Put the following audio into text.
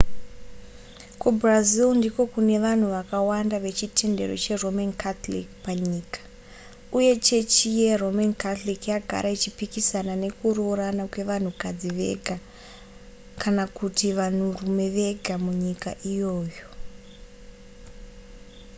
kubrazil ndiko kune vanhu vakawanda vechitendero cheroman catholic panyika uye chechi yeroman catholic yagara ichipikisana nekuroorana kwevanhukadzi vega kana kuti vanhurume vega munyika iyoyo